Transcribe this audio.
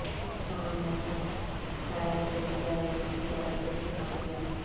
تمام موسم ٹائر کئی ڈرائیوروں کی طرف سے استعمال کیا